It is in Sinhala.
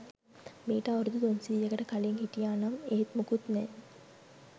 මීට අවුරුදු තුන්සීයකට කලින් හිටියා නම් ඒත් මුකුත් නෑ.